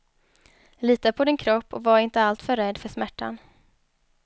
Lita på din kropp och var inte alltför rädd för smärtan.